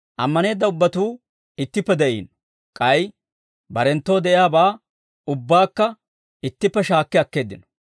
Ammaneedda ubbatuu ittippe de'iino; k'ay barenttoo de'iyaabaa ubbaakka ittippe shaakki akkeeddino.